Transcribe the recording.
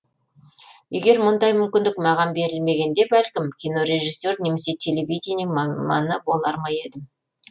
егер мұндай мүмкіндік маған берілмегенде бәлкім кинорежиссер немесе телевидение маманы болар ма едім